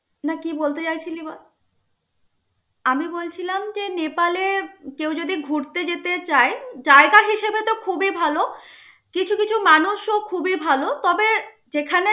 না কি বলতে চাইছিলি বল. আমি বলছিলাম, যে নেপালে কেউ যদি ঘুরতে যেতে চায়, জায়গা হিসেবে তো খুবই ভাল. কিছু কিছু মানুষও খুবই ভাল. তবে যেখানে